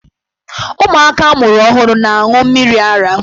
Ụmụaka a mụrụ ọhụrụ na-aṅụ mmiri ara.